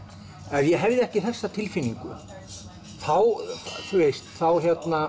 ef ég hefði ekki þessa tilfinningu þá þá